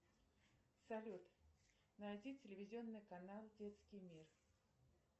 салют найди телевизионный канал детский мир